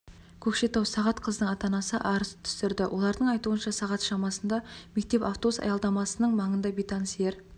көкшетау сағат қыздың ата-анасы арыз түсірді олардың айтуынша сағат шамасында мектеп автобус аялдамасының маңында бейтаныс ер